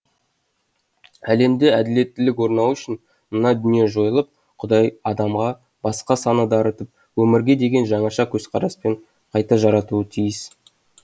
әлемде әділеттілік орнауы үшін мына дүние жойылып құдай адамға басқа сана дарытып өмірге деген жаңаша көзқараспен қайта жаратуы тиіс